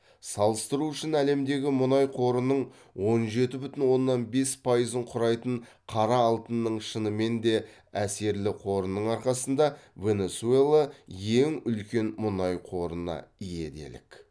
салыстыру үшін әлемдегі мұнай қорының он жеті бүтін оннан бес пайызын құрайтын қара алтынның шынымен де әсерлі қорының арқасында венесуэла ең үлкен мұнай қорына ие делік